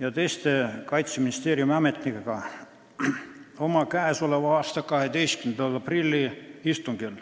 ja teiste Kaitseministeeriumi ametnikega oma k.a 12. aprilli istungil.